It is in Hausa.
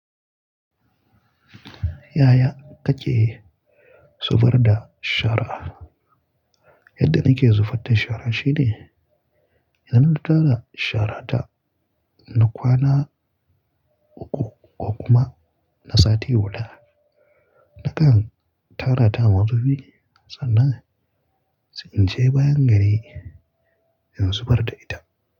Yaya kake zubar da shara'a? Yadda nake zubar da shara shine idan na tara shara ta, na kwana uku ko kuma na sati hudu, nakan tara ta a mazubi sannan in je bayan gari in zubar da ita.